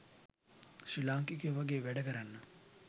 ශ්‍රී ලාංකිකයෝ වගේ වැඩ කරන්න